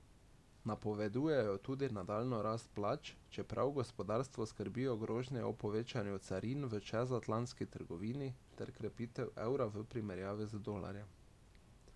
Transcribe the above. Napovedujejo tudi nadaljnjo rast plač, čeprav gospodarstvo skrbijo grožnje o povečanju carin v čezatlantski trgovini ter krepitev evra v primerjavi z dolarjem.